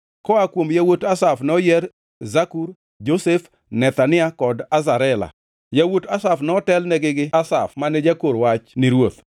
Koa kuom yawuot Asaf noyier: Zakur, Josef, Nethania kod Asarela. Yawuot Asaf notelnigi gi Asaf mane jakor wach ni ruoth.